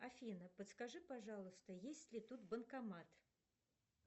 афина подскажи пожалуйста есть ли тут банкомат